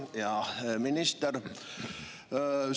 Hea minister!